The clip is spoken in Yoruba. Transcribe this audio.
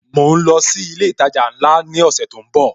Mo ń lọ sí ilé ìtajà ńlá ni ọ̀sẹ̀ tó ń bò